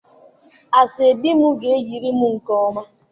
Aso-ebi m ga-eyirịrị nke ọma.